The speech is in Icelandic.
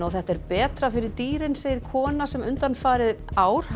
og þetta er betra fyrir dýrin segir kona sem undanfarin ár